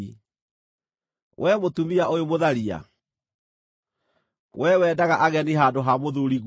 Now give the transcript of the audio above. “ ‘Wee mũtumia ũyũ mũtharia! Wee wendaga ageni handũ ha mũthuuriguo!